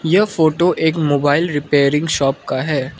यह फोटो एक mobile repairing shop का है।